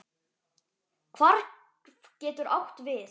Hvarf getur átt við